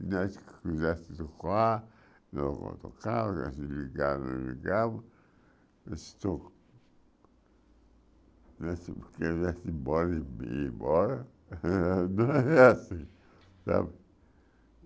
E nós quisesse Nós queria ir simbora, ia ia embora, é assim, sabe?